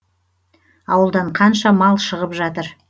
ауылдан қанша мал шығып жатыр